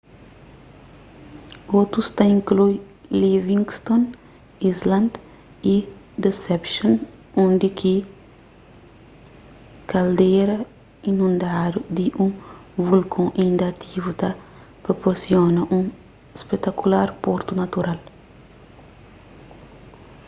otus ta inklui livingston island y deception undi ki kaldera inundadu di un volkon inda ativu ta proporsiona un spetakular portu natural